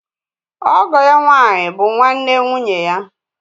Ọgọ ya nwànyí bụ nwanne nwụnye ya.